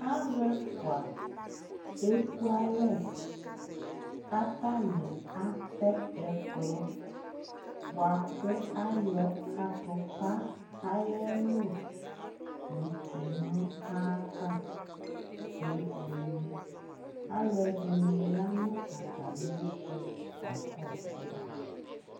alò ɛfua eku alɛ k'atani atɛ ɛkplɔ boa kò ayɔ atupa ayi ɛlu yo tsua no ayi ava kebuele alò ɛdini ya no atami ɛto ka kɔsu ma